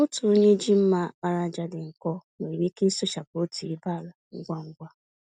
Otu onye ji mma àkpàràjà dị nkọ nwere ike ịsụchapụ otú ibé ala ngwa ngwa.